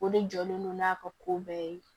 O de jɔlen do n'a ka ko bɛɛ ye